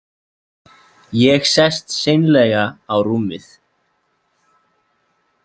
Ég sest seinlega á rúmið.